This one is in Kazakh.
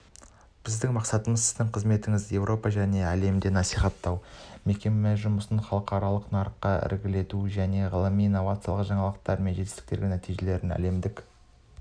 біздің мақсатымыз сіздің қызметіңізді еуропа және әлемде насихаттау мекеме жұмысын халықаралық нарықта ілгерілету және ғылыми инновациялық жаңалықтар мен жетістіктер нәтижелерін әлемдік